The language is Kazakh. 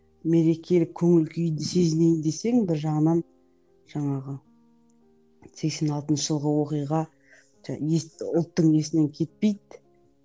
мерекелік көңіл күйді сезінейін десең бір жағынан жаңағы сексен алтыншы жылғы оқиға ұлттың есінен кетпейді